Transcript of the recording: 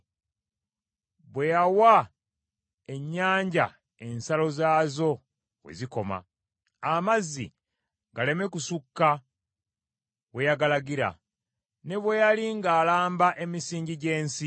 bwe yawa ennyanja ensalo zaazo we zikoma, amazzi galeme kusukka we yagalagira, ne bwe yali ng’alamba emisingi gy’ensi.